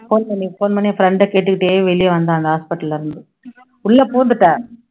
phone பண்ணி phone பண்ணி friend அ கேட்டுக்கிட்டே வெளிய வந்தேன் அந்த hospital ல இருந்து உள்ள பூந்துட்டேன்